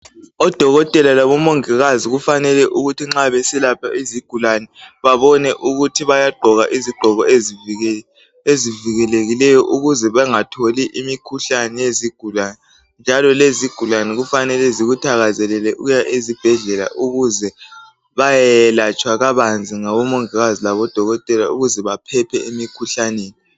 odokotela labo mongikazi kufanele ukuthi nxa beselapha izigulane babone ukuthi bayagqoka izigqoko ezivikelekileyo ukuze bengatholi imikhuhlane yezigulane njalo lezigulane kufanele zikuthakazelele ukuya ezibhedlela ukuze bayeyelatshwa kabanzi ngo mingikazi labo dokotela ukuze baphephe emikhuhlaneni